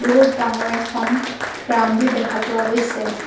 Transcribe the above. বহুত ডাঙৰ এখন গ্ৰাউণ্ডও দেখা গৈছে।